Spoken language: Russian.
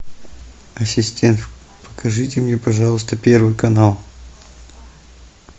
ассистент покажите мне пожалуйста первый канал